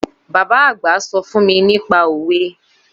Baba àgbà sọ fún mi nípa òwe